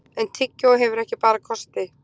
en tyggjó hefur ekki bara kosti